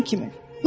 Lap sənin kimi.